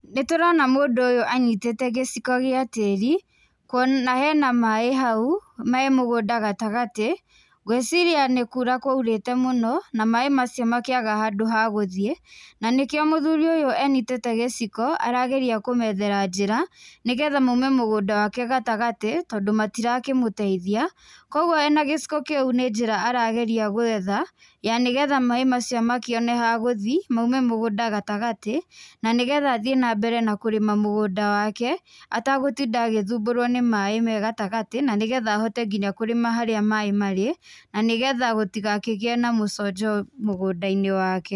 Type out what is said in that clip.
Nĩ tũrona mũndũ ũyũ anyitĩte gĩciko gĩa tĩri, na hena maĩ hau, me mũgũnda gatagatĩ, ngwĩciria nĩ kuura kwaurĩte mũno, na maĩ macio makĩaga handũ ha gũthiĩ, na nĩkĩo mũthuri ũyũ anyitĩte gĩciko, arageria kũmethera njĩra, nĩ getha maume mũgũnda wake gatagatĩ, tondũ matirakĩmũteithia. Kũguo ena gĩciko kĩu nĩ njĩra arageria gwetha ya nĩ getha maĩ macio makĩone ha gũthi maume mũgũnda gatagatĩ na nĩ getha athiĩ na mbere na kũrĩma mũgũnda wake atagũtinda agĩthumbũrũo nĩ maĩ me gatagatĩ na nĩ getha ahote nginya kũrĩma harĩa maĩ marĩ, na nĩ getha gũtigakĩgiĩ na mũconjo mũgũnda-inĩ wake.